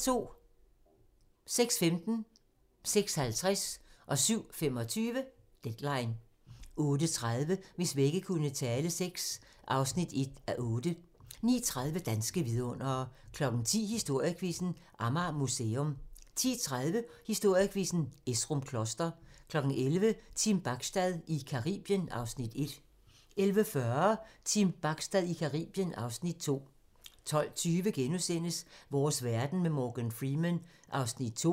06:15: Deadline 06:50: Deadline 07:25: Deadline 08:30: Hvis vægge kunne tale VI (1:8) 09:30: Danske vidundere 10:00: Historiequizzen: Amager Museum 10:30: Historiequizzen: Esrum Kloster 11:00: Team Bachstad i Caribien (Afs. 1) 11:40: Team Bachstad i Caribien (Afs. 2) 12:20: Vores verden med Morgan Freeman (2:6)*